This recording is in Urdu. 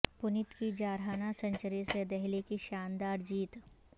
پنت کی جارحانہ سنچری سے دہلی کی شاندار جیت